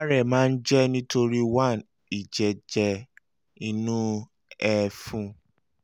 ìárẹ̀ máa ń jẹ́ nítorí one ìjẹ́jẹ́ inú ẹ̀fun